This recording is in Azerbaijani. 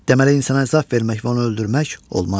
Deməli insana əzab vermək və onu öldürmək olmaz.